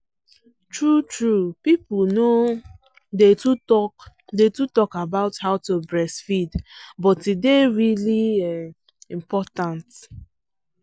true truepeople no um day too talk day too talk about how to breastfeed but e day really um important